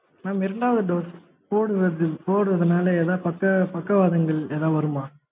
mam இரண்டாவது dose போடுவது போடுவது நாள ஏதாவது பக்க பக்கவாதங்கள் ஏதாவது வருமா?